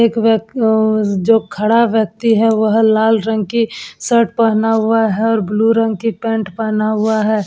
एक व्यक अ जो खड़ा व्यक्ति है वह लाल रंग की शर्ट पहना हुआ है और ब्लू रंग की पैंट पहना हुआ है।